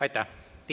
Aitäh!